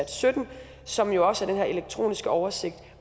sytten som jo også er den her elektroniske oversigt